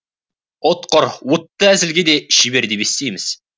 ұтқыр уытты әзілге де шебер деп естиміз